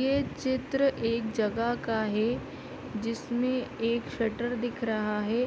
ये चित्र एक जगह का है जिसमें एक शटर दिख रहा है